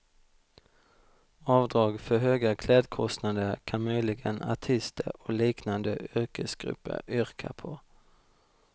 Avdrag för höga klädkostnader kan möjligen artister och liknande yrkesgrupper yrka på.